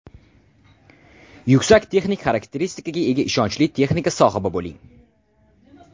Yuksak texnik xarakteristikaga ega ishonchli texnika sohibi bo‘ling.